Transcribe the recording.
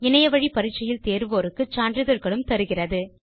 இணையத்தில் பரிட்சை எழுதி தேர்வோருக்கு சான்றிதழ்களும் தருகிறது